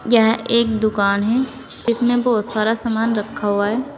यह एक दुकान है इसमें बहुत सारा सामान रखा हुआ है।